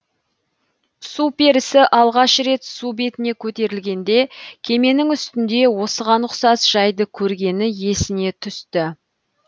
су перісі алғаш рет су бетіне көтерілгенде кеменің үстінде осыған ұқсас жайды көргені есіне түсті